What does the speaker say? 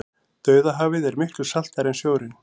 dauðahafið er miklu saltara en sjórinn